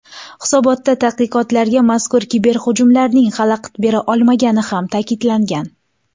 Hisobotda tadqiqotlarga mazkur kiberhujumlarning xalaqit bera olmagani ham ta’kidlangan.